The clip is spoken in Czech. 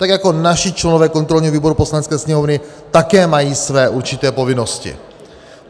Tak jako naši členové kontrolního výboru Poslanecké sněmovny také mají své určité povinnosti.